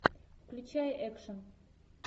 включай экшн